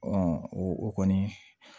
o kɔni